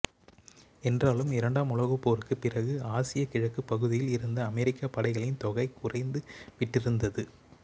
என்றாலும் இரண்டாம் உலகப் போருக்குப் பிறகு ஆசியக் கிழக்குப் பகுதியில் இருந்த அமெரிக்கப் படைகளின் தொகை குறைந்துவிட்டிருந்தது